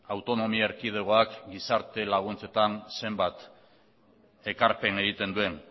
autonomia erkidegoak gizarte laguntzetan zenbat ekarpen egiten duen